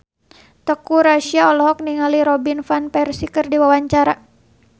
Teuku Rassya olohok ningali Robin Van Persie keur diwawancara